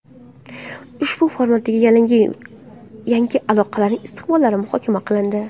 Ushbu formatdagi yangi aloqalarning istiqbollari muhokama qilindi”.